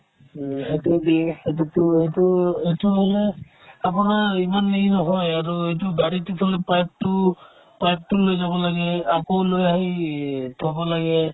এইটো মানে আপোনাৰ ইমান হেৰি নহয় আৰু এইটো গাড়ীৰ পিছলে pipe তো pipe তো লৈ যাব লাগে আকৌ লৈ আহি থ'ব লাগে